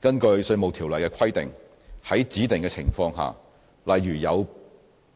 根據《稅務條例》的規定，在指定的情況下，例如因